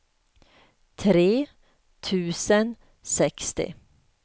tre tusen sextio